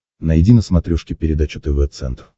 найди на смотрешке передачу тв центр